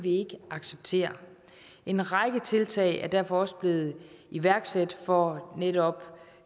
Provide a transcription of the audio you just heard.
ikke acceptere en række tiltag er derfor også blevet iværksat for netop